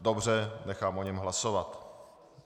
Dobře, nechám o něm hlasovat.